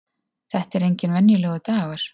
Þetta er enginn venjulegur dagur!